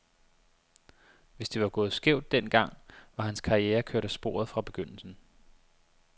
Hvis det var gået skævt den gang, var hans karriere kørt af sporet fra begyndelsen.